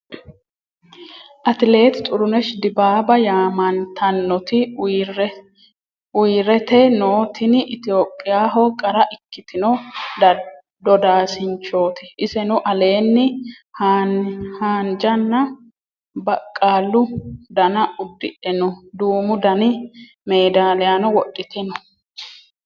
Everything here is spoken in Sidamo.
Atiletti Xirruneshi dibbaba yaamanitanoti uyirette noo tini etiyopiyaho qarra ikkitino doddasinichoti. isenno alenni haanijana baqqalu danna udidhe noo duumu Dani meedaliyano wodhitte noo